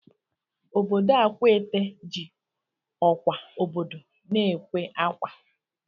Obodo Akwaete ji ọkwa obodo na-ekwe akwa